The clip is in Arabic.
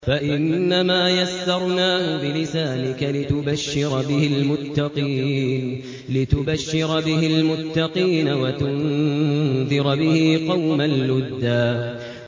فَإِنَّمَا يَسَّرْنَاهُ بِلِسَانِكَ لِتُبَشِّرَ بِهِ الْمُتَّقِينَ وَتُنذِرَ بِهِ قَوْمًا لُّدًّا